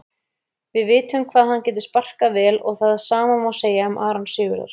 Við vitum hvað hann getur sparkað vel og það sama má segja um Aron Sigurðar.